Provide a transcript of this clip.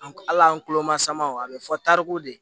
An ala an kulo ma sama aw bɛ fɔ tariko de